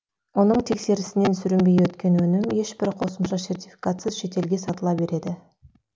оның тексерісінен сүрінбей өткен өнім ешбір қосымша сертификатсыз шетелге сатыла береді